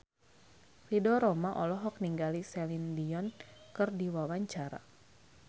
Ridho Roma olohok ningali Celine Dion keur diwawancara